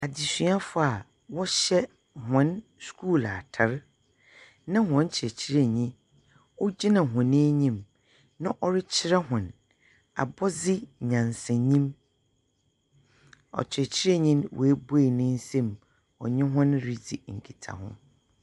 Adesuafo aa wɔhyɛ wɔn skuul atar na wɔn kyerɛkyerɛnyi ogyina wɔn anyim na ɔrekyerɛ wɔn abɔdze nyansanyim. Ɔkyerɛkyerɛnyi'n w'abue ne nsam ɔnye wɔn redzi nketahu.